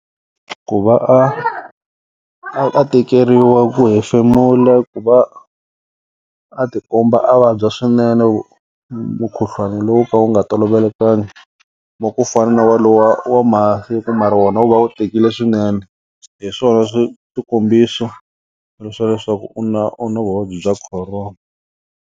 Ku va a a tekeriwa ku hefemula ku va a tikomba a vabya swinene mukhuhlwana lowu ka wu nga tolovelekangi wa ku fana na wa lowa wa masiku mara wona wu va wu tikile swinene hi swona swi swikombisa ri swa leswaku u na u na vuvabyi bya corona.